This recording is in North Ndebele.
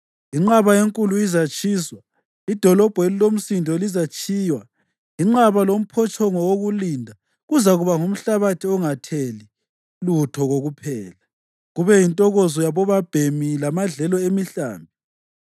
Inqaba enkulu izatshiswa, idolobho elilomsindo lizatshiywa; inqaba lomphotshongo wokulinda kuzakuba ngumhlabathi ongatheli lutho kokuphela, kube yintokozo yabobabhemi lamadlelo emihlambi,